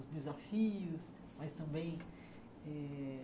Os desafios, mas também eh